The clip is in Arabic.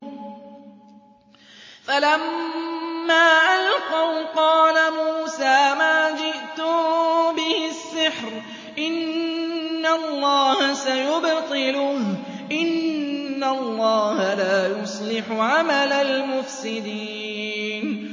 فَلَمَّا أَلْقَوْا قَالَ مُوسَىٰ مَا جِئْتُم بِهِ السِّحْرُ ۖ إِنَّ اللَّهَ سَيُبْطِلُهُ ۖ إِنَّ اللَّهَ لَا يُصْلِحُ عَمَلَ الْمُفْسِدِينَ